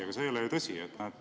Aga see ei ole ju tõsi.